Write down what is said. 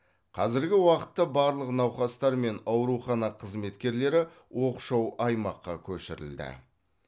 қазіргі уақытта барлық науқастар мен аурухана қызметкерлері оқшау аймаққа көшірілді